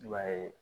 I b'a ye